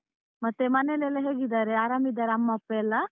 ಮತ್ತೆ ಮನೇಲೆಲ್ಲಾ ಹೇಗಿದಾರೆ? ಆರಾಮಿದಾರ ಅಮ್ಮ ಅಪ್ಪ ಎಲ್ಲ?